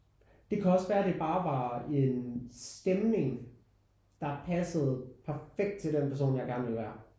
Det kan også være det bare var en stemning der passede perfekt til den person jeg gerne ville være